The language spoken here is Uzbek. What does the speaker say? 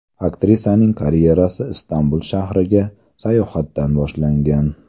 Aktrisaning karyerasi Istanbul shahriga sayohatdan boshlangan.